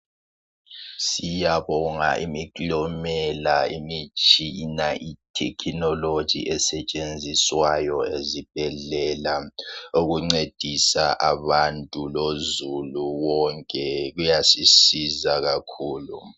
Siyabonga imiklomela imitshina ithekhinoloji esetshenziswayo ezibhedlela okuncedisa abantu lozulu wonke kuyasisiza kakhulu